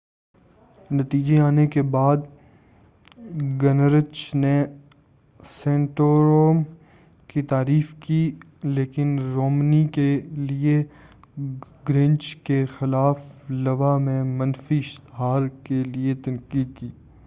نتیجے آنے کے بعد گنرچ نے سنٹورم کی تعریف کی لیکن رومنی کیلئے گنرچ کے خلاف لوا میں منفی اشتہار کیلئے تنقید کی